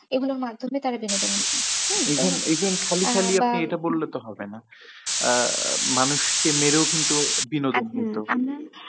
এগুলোর মাধ্যমে তারা বিনোদন করত। এবং খালি খালি এটা তো বললে হবে না। আহ মানুষ কে মেরেও কিন্তু বিনোদন করতো।